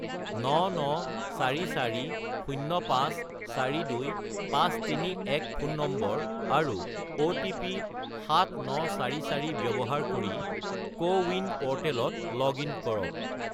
99440542531 ফোন নম্বৰ, আৰু অ'টিপি 7944 ব্যৱহাৰ কৰি কোৱিন প'ৰ্টেলত লগ-ইন কৰক।